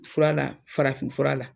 O furala farafin fura la.